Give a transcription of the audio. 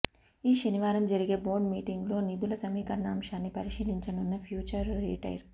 ఈ శనివారం జరిగే బోర్డు మీటింగ్లో నిధుల సమీకరణ అంశాన్ని పరిశీలించనున్న ఫ్యూచర్ రిటైల్